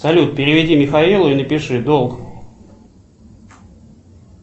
салют переведи михаилу и напиши долг